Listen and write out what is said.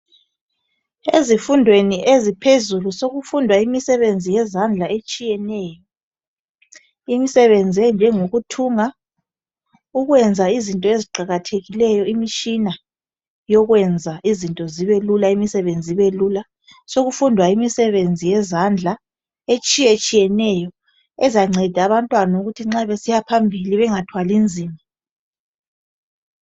Ezifundweni eziphezulu sokufundwa imisebenzi yezandla etshiyeneyo. Imisebenzi enjengokuthunga. Ukwenza izinto eziqakathekileyo. Imitshina yokwenza izinto zibelula, imisebenzi ibelula. Sokufundwa imisebenzi yezandla etshiyetshiyeneyo ezanceda abantwana ukuthi nxa besiyaphambili bengathwali nzima.